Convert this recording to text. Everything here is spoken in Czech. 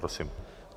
Prosím.